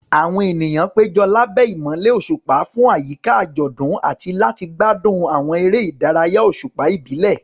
Àwọn ènìyàn péjọ lábẹ́ ìmọ́lẹ̀ òṣùpá fún àyíká àjọ̀dún àti láti gbádùn àwọn eré ìdárayá òṣùpá ìbílẹ̀.